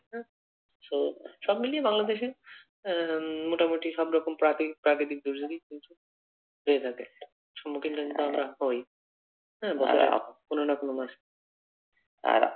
তো সব মিলিয়ে বাংলাদেশে উম মোটামুটি সব রকম প্রাকৃতিক প্রাকৃতিক দুর্যোগই দুর্যোগই হয়ে থাকে। সম্মুখীন কিন্তু আমরা হই আহ বছরের কোন না কোন মাসে। আর